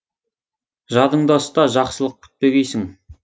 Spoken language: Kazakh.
жадыңда ұста жақсылық күтпегейсің